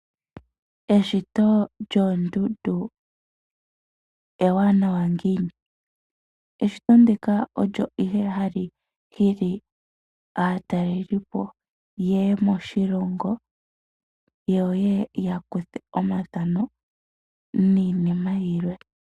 Eshito lyoondundu ewanawa ngiini? Eshito ndika olyo ihe ha li hili aataleli po yeye moshilongo yo yeye ya kuthe omathano niinima yilwe.